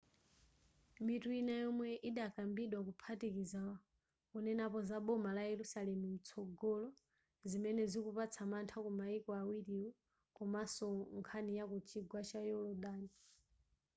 mitu ina yomwe idakambidwa ikuphatikiza kunenapo za boma la yerusalemu lamtsogolo zimene zikupatsa mantha kumayiko awiriwo komaso nkhani yaku chigwa cha yolodani